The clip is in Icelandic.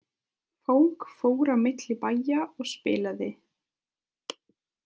Fólk fór á milli bæja og spilaði.